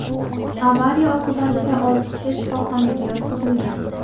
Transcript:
Avariya oqibatida olti kishi shifoxonaga yotqizilgan.